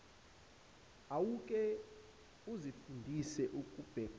awuke uzifundise ukubekezela